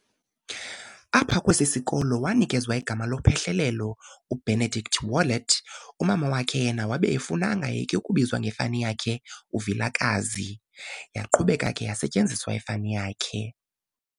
Apha kwesi sikolo wanikezwa igama lophehlelelo u"Benedict Wallet", umama wakhe yena wabe efuna angayeki ukubizwa ngefani yakhe u"Vilakazi", yaqhubeka ke yasetyenziswa ifani yakhe.